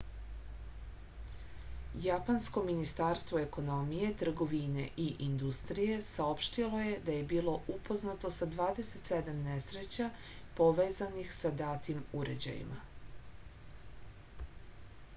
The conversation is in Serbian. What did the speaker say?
japansko ministarstvo ekonomije trgovine i industrije saopštilo je da je bilo upoznato sa 27 nesreća povezanih sa datim uređajima